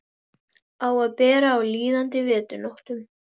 Undanþegnir þessari biðröð voru heiðursgestir og óléttar konur.